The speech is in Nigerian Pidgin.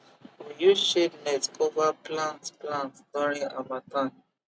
use shade net cover plants plants during harmattan